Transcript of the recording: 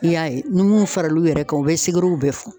I y'a ye ni mun faral'u yɛrɛ kan u bɛ bɛɛ fɔ